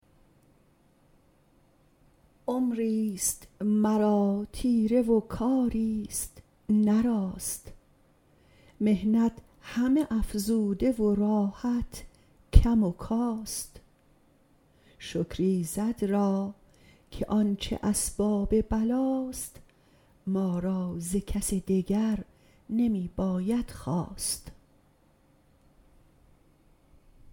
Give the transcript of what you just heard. عمری ست مرا تیره و کاری ست نه راست محنت همه افزوده و راحت کم و کاست شکر ایزد را که آنچه اسباب بلا ست ما را ز کس دگر نمی باید خواست